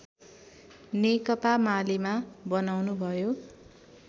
नेकपा मालेमा बनाउनुभयो